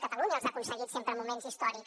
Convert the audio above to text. catalunya els ha aconseguit sempre en moments històrics